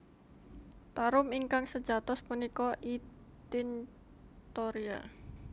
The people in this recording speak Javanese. Tarum ingkang sejatos punika I tinctoria